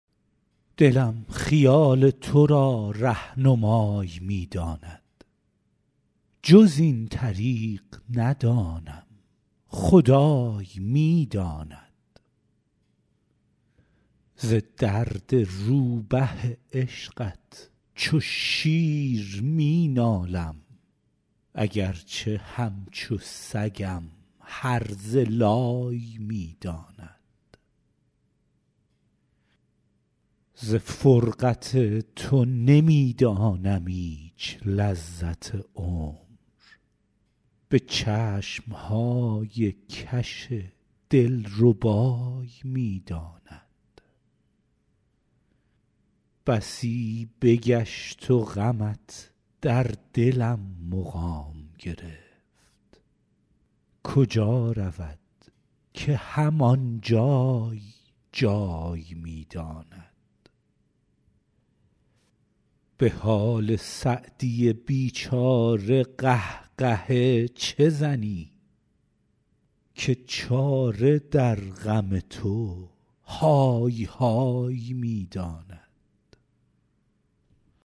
دلم خیال تو را رهنمای می داند جز این طریق ندانم خدای می داند ز درد روبه عشقت چو شیر می نالم اگر چه همچو سگم هرزه لای می داند ز فرقت تو نمی دانم ایچ لذت عمر به چشم های کش دل ربای می داند بسی بگشت و غمت در دلم مقام گرفت کجا رود که هم آن جای جای می داند به حال سعدی بی چاره قه قهه چه زنی که چاره در غم تو های های می داند